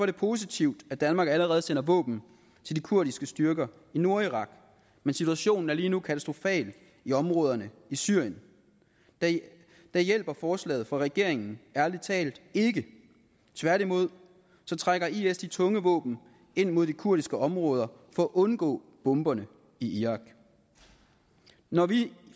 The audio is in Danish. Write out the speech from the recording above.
det positivt at danmark allerede sender våben til de kurdiske styrker i nordirak men situationen er lige nu katastrofal i områderne i syrien der hjælper forslaget fra regeringen ærlig talt ikke tværtimod trækker isil de tunge våben ind mod de kurdiske områder for at undgå bomberne i irak når vi